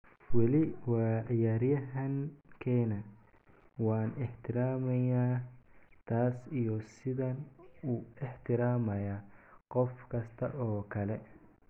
Weli waa ciyaaryahan keena, waan ixtiraamayaa taas iyo sidaan u ixtiraamayaa qof kasta oo kale.